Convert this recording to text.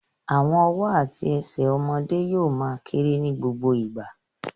Àwọn ọwọ́ àti ẹsẹ̀ àwọn ọmọdé yóò ma kérè ní gbogbo ìgbà